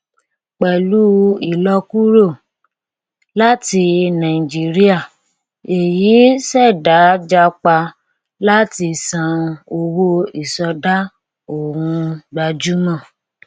pẹlú ìlọkúrò láti nàìjíríà èyí ṣẹdájápa láti san owó ìsọdá ohun gbajúmọ